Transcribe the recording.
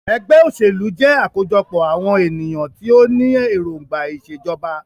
Ẹgbẹ́ òṣèlú jẹ́ àkójọpọ̀ àwọn ènìyàn tí o ní èròngbà ìṣèjọba.